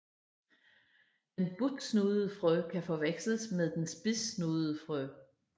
Den butsnudede frø kan forveksles med den spidssnudede frø